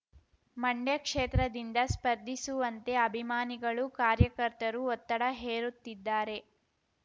ಮಂಡ್ಯ ಕ್ಷೇತ್ರದಿಂದ ಸ್ಪರ್ಧಿಸುವಂತೆ ಅಭಿಮಾನಿಗಳು ಕಾರ್ಯಕರ್ತರು ಒತ್ತಡ ಹೇರುತ್ತಿದ್ದಾರೆ